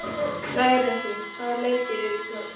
Hrærekur, hvaða leikir eru í kvöld?